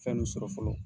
Fɛn nu sɔrɔ fɔlɔ